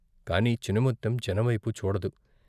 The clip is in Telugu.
కాని చినముత్తెం జనంవైపు చూడదు.